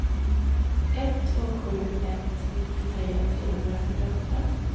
ett två sju ett nittiotre trehundrafyrtioåtta